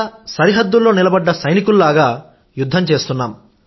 సరిహద్దులో నిలబడ్డ సైనికులలాగా యుద్ధం చేస్తున్నాం